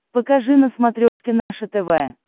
покажи на смотрешке наше тв